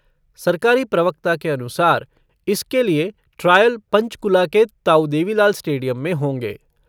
सरकारी प्रवक्ता के अनुसार इसके लिए ट्रायल पंचकूला के ताऊ देवी लाल स्टेडियम में होंगे।